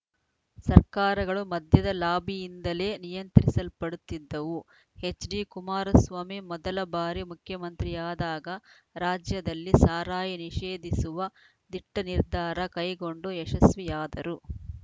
ಸರ್ಕಾರಗಳು ಮದ್ಯದ ಲಾಬಿಯಿಂದಲೇ ನಿಯಂತ್ರಿಸಲ್ಪಡುತ್ತಿದ್ದವು ಎಚ್‌ಡಿಕುಮಾರಸ್ವಾಮಿ ಮೊದಲ ಬಾರಿ ಮುಖ್ಯಮಂತ್ರಿಯಾದಾಗ ರಾಜ್ಯದಲ್ಲಿ ಸಾರಾಯಿ ನಿಷೇಧಿಸುವ ದಿಟ್ಟನಿರ್ಧಾರ ಕೈಗೊಂಡು ಯಶಸ್ವಿಯಾದರು